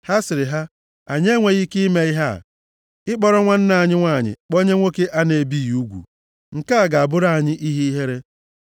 Ha sịrị ha, “Anyị enweghị ike ime ihe a, ị kpọrọ nwanne anyị nwanyị kpọnye nwoke a na-ebighị ugwu. Nke a ga-abụrụ anyị ihe ihere.